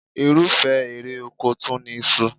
Irúfẹ́ èrè oko tún ni iṣu